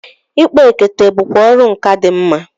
Ịkpa ekete bụkwa ọrụ nkà dị mma.